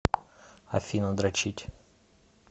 афина дрочить